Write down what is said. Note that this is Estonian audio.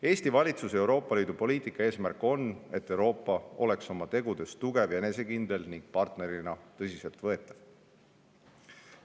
Eesti valitsuse Euroopa Liidu poliitika eesmärk on, et Euroopa oleks oma tegudes tugev ja enesekindel ning partnerina tõsiseltvõetav.